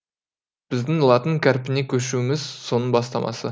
біздің латын қарпіне көшуіміз соның бастамасы